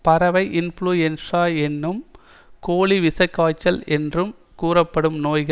பறவை இன்புளுயென்ஸா என்றும் கோழி விஷக்காய்ச்சல் என்றும் கூறப்படும் நோய்